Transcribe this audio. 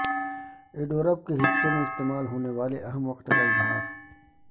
adverb کے حصوں میں استعمال ہونے والے اہم وقت کا اظہار